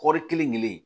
Kɔɔri kelen kelen